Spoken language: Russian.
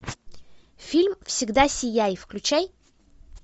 фильм всегда сияй включай